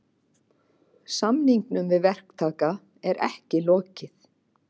Samningum við verktaka er ekki lokið